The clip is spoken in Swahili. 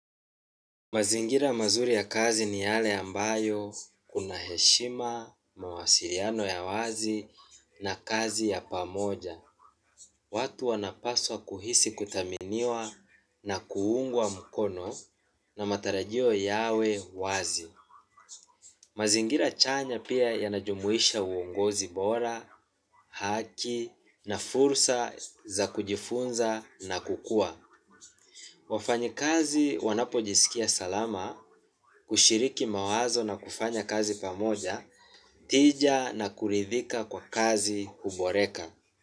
Mazingira mazuri ya kazi ni yale ambayo kuna heshima, mawasiriano ya wazi na kazi ya pamoja. Watu wanapaswa kuhisi kuthaminiwa na kuungwa mkono na matarajio yawe wazi. Mazingira chanya pia yanajumuisha uongozi bora, haki na fursa za kujifunza na kukua. Wafanyi kazi wanapojisikia salama, hushiriki mawazo na kufanya kazi pamoja, tija na kuridhika kwa kazi kuboreka.